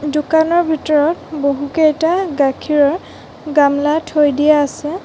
দোকানৰ ভিতৰত বহুকেইটা গাখীৰৰ গামলা থৈ দিয়া আছে।